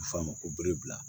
A bɛ f'o ma ko bere bila